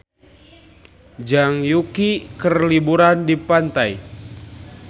Zhang Yuqi keur liburan di pantai